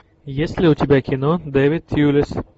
есть ли у тебя кино дэвид тьюлис